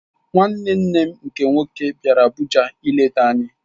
Nwanne nne m nke nwoke bịara Abuja ileta anyị.